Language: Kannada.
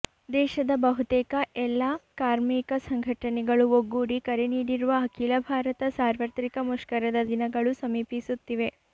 ದೇಶದ ಬಹುತೇಕ ಎಲ್ಲಾ ಕಾಮರ್ಿಕ ಸಂಘಟನೆಗಳು ಒಗ್ಗೂಡಿ ಕರೆ ನೀಡಿರುವ ಅಖಿಲ ಭಾರತ ಸಾರ್ವತ್ರಿಕ ಮುಷ್ಕರದ ದಿನಗಳು ಸಮೀಪಿಸುತ್ತಿವೆ